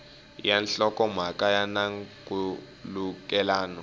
ya nhlokomhaka ya na nkhulukelano